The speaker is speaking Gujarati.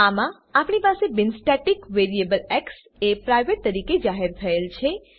આમાં આપણી પાસે બિન સ્ટેટિક વેરીએબલ એક્સ એ પ્રાઇવેટ પ્રાઈવેટ તરીકે જાહેર થયેલ છે